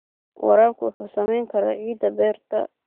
Waraabku wuxuu saameyn karaa ciidda beerta.